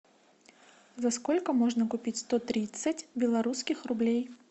за сколько можно купить сто тридцать белорусских рублей